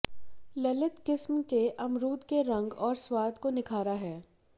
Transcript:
ललित किस्म के अमरूद के रंग और स्वाद को निखारा है